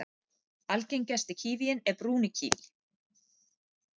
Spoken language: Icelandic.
Algengasti kívíinn er brúni kíví.